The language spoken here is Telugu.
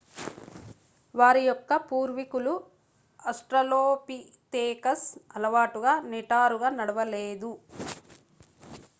వారి యొక్క పూర్వికులు ఆస్ట్రలోపితేకస్ అలవాటుగా నిటారుగా నడవలేదు